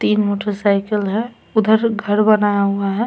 तीन motorcycle है उधर घर बनाया हुआ है।